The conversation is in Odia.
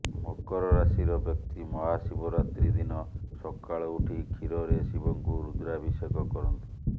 ମକର ରାଶିର ବ୍ୟକ୍ତି ମହାଶିବରାତ୍ରୀ ଦିନ ସକାଳୁ ଉଠି କ୍ଷୀରରେ ଶିବଙ୍କୁ ରୁଦ୍ରାଭିଷେକ କରନ୍ତୁ